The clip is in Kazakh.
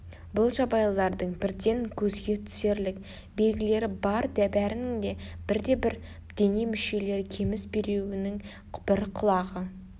бұл жабайылардың бірден көзге түсерлік белгілері бар бәрінің де бір-бір дене мүшелері кеміс біреуінің бір құлағы